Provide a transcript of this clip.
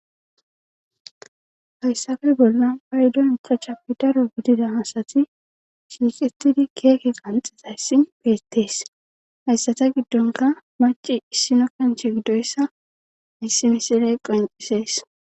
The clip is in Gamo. hayssafe bollan phaydon kachappi daro gidida asati shiiqettidi keeke qanxetayssin beettees hayssata giddonka maci issino kench giddoyssa misi misiley qoncisees